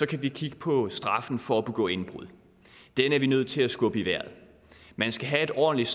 kan vi kigge på straffen for at begå indbrud den er vi nødt til at skubbe i vejret man skal have et ordentligt